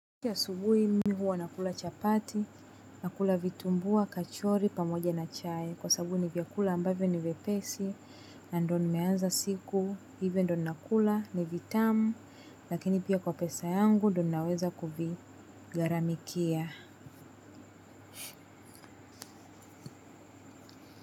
Ikiwa asubuhi mimi huwa nakula chapati, nakula vitumbua, kachori, pamoja na chai. Kwa sababu ni vyakula ambavyo ni vyepesi, na ndio nimeanza siku, hivyo ndio nakula, ni vitamu, lakini pia kwa pesa yangu ndio naweza kuvigaramikia.